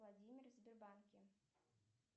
владимир в сбербанке